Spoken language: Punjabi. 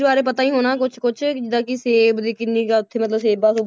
ਬਾਰੇ ਪਤਾ ਹੀ ਹੋਣਾ ਕੁਛ ਕੁਛ ਜਿੱਦਾਂ ਕਿ ਸੇਬ ਦੀ ਕਿੰਨੀ ਕੁ ਆ ਉੱਥੇ ਮਤਲਬ ਸੇਬਾਂ